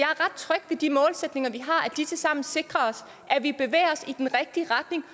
ret tryg ved de målsætninger vi har at de tilsammen sikrer at vi bevæger os i den rigtige retning